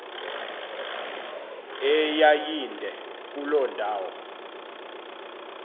eyayinde kuloo ndawo